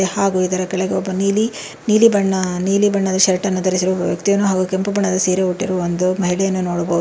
ಹಾಗೂ ಇದರ ಕೆಳಗೆ ಒಬ್ಬ ನೀಲಿ ನೀಲಿ ಬಣ್ಣ ನೀಲಿ ಬಣ್ಣದ ಶರ್ಟ್ ಅನ್ನು ಧರಿಸಿರುವ ಒಬ್ಬ ವ್ಯಕ್ತಿಯನ್ನು ಹಾಗೂ ಕೆಂಪು ಬಣ್ಣದ ಸೀರೆ ಹುಟ್ಟಿರುವ ಒಂದು ಮಹಿಳೆಯನ್ನು ನೋಡಬಹುದು.